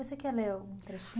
Você quer ler algum trechinho?